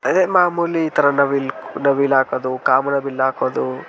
ಅದೇ ಮಾಮೂಲಿ ಇತರ ನವಿಲು ಹಾಕೋದು ಕಾಮನಬಿಲ್ಲು ಹಾಕೋದು.